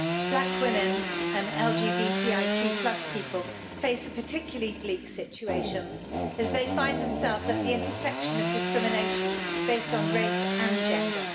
Black women and LGBTIQ people face a particularly bleak situation as they find themselves at the intersection of discrimination based on race and gender.